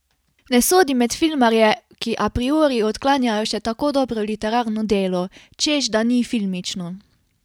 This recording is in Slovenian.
Ne sodim med filmarje, ki a priori odklanjajo še tako dobro literarno delo, češ da ni filmično.